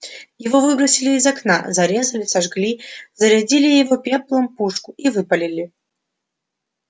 его выбросили из окна зарезали сожгли зарядили его пеплом пушку и выпалили